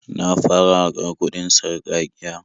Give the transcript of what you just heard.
Na fara haƙar kuɗin sarƙaƙiya.